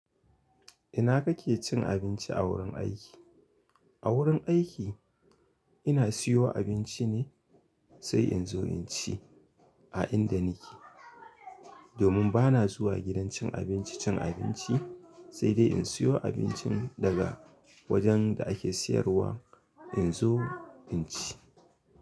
Ina kake cin abinci a wurin aiki? A wurin aiki ina siyo abinci ne sai in zo in ci a inda nike. Domin bana zuwa gidan cin abinci cin abinci, sai dai in siyo abincin daga wajen da ake siyarwa in zo in ci.